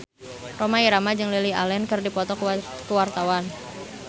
Rhoma Irama jeung Lily Allen keur dipoto ku wartawan